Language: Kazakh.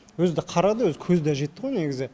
өзі да қарады өзі көзі да жетті ғой негізі